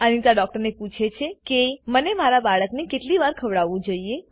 Anita doctor પૂછે છે કે હું મારા બાળકને કેટલી વાર ખવડાવવું જોઈએ160